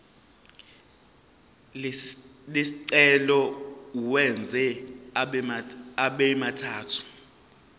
lesicelo uwenze abemathathu